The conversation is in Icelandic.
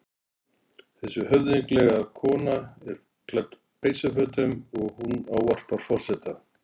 Þessi höfðinglega kona er klædd peysufötum og hún ávarpar forseta.